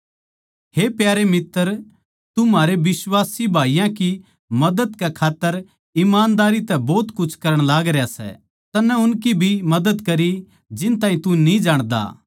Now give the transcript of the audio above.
हे प्यारे मित्तर तू म्हारे बिश्वासी भाईयाँ की मदद कै खात्तर ईमानदारी तै भोत कुछ करण लागरया सै तन्नै उनकी भी मदद करी जिन ताहीं तू न्ही जाणदा